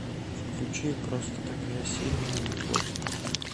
включи просто такая сильная любовь